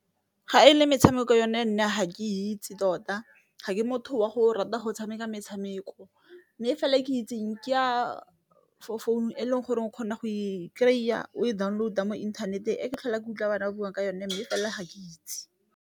Ga e le metshameko yone nna ga ke itse tota ga ke motho wa go rata go tshameka metshameko, mme fela e ke itseng ke ya for founu e leng gore o kgona go e kry-a o e download-a mo inthaneteng, e ka tlhola kutlwa bana ba bone ka yone mme fela ga ke itse.